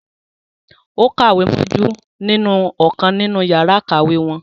Ó kàwé mójú nínú ọ̀kan nínú yàrá ìkàwé wọn